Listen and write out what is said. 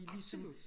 Absolut